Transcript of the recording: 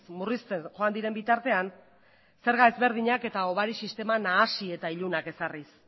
murrizten joan diren bitartean zerga ezberdinak eta hobari sistema nahasi eta ilunaz ezarriz